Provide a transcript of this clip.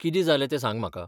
कितें जालें तें सांग म्हाका.